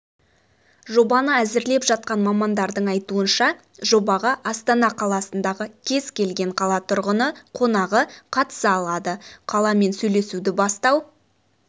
жобаны әзірлеп жатқан мамандардың айтуынша жобаға астана қаласындағы кез-келген қала тұрғыны-қонағы қатыса алады қаламен сөйлесуді бастау